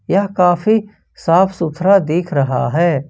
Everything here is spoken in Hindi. यह काफी साफ सुथरा दिख रहा है।